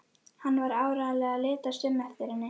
Hann var áreiðanlega að litast um eftir henni.